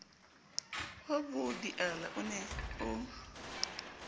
wa bobiala o ne o